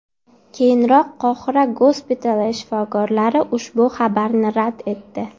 Keyinroq Qohira gospitali shifokorlari ushbu xabarni rad etdi .